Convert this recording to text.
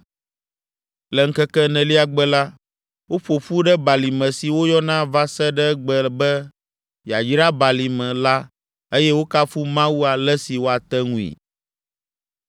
Le ŋkeke enelia gbe la, woƒo ƒu ɖe balime si woyɔna va se ɖe egbe be Yayrabalime la eye wokafu Mawu ale si woate ŋui.